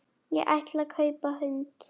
Ég ætlaði að kaupa hund.